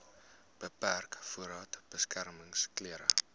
beperk voordat beskermingsklere